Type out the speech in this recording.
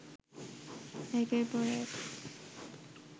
একের পর এক